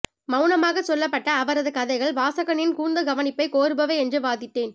மௌனமாகச் சொல்லப்பட்ட அவரது கதைகள் வாசகனின் கூர்ந்த கவனிப்பைக் கோருபவை என்று வாதிட்டேன்